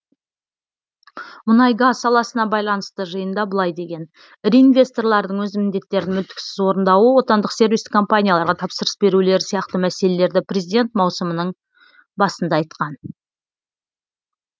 мұнай газ саласына байланысты жиында былай деген ірі инвесторлардың өз міндеттерін мүлтіксіз орындауы отандық сервистік компанияларға тапсырыс берулері сияқты мәселелерді президент маусымның басында айтқан